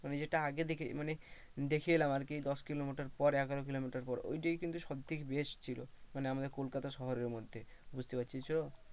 মানে যেটা আগে দেখে মানে দেখে এলাম আর কি দশকিলোমিটার পর এগারো কিলোমিটার পর ঐটাই কিন্তু সবথেকে best ছিল মানে আমাদের কলকাতা শহরের মধ্যে বুঝতে পারছিস তো?